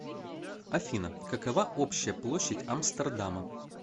афина какова общая площадь амстердама